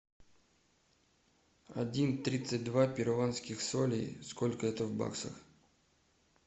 один тридцать два перуанских солей сколько это в баксах